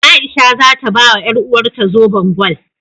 A'isha za ta bawa ƴaruwarta zoben gwal.